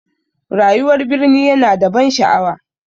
Rayuwar birni ya na da ban sha'awa